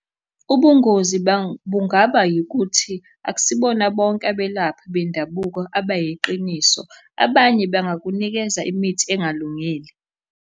Ubungozi bungaba yikuthi, akusibona bonke abelaphi bendabuko, abayiqiniso, abanye bangakunikeza imithi engalungile.